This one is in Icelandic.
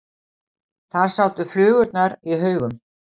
Þar sátu flugurnar í haugum.